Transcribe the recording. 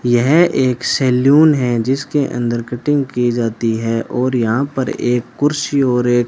यह एक सैलून है जिसके अंदर कटिंग की जाती है और यहां पर एक कुर्सी और एक --